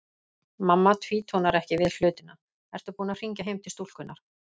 Mamma tvínónar ekki við hlutina: Ertu búin að hringja heim til stúlkunnar?